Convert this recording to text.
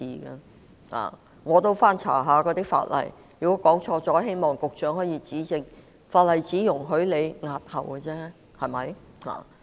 我也曾翻查法例——假如我說錯了，希望局長指正——法例只容許政府押後選舉，對嗎？